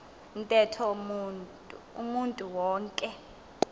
ntetho umntu wonke